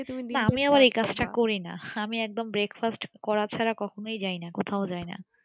আমি আবার এই কাজটা করিনা আমি একদম breakfast করা ছাড়া কখনো যাইনা কোথাও যাইনা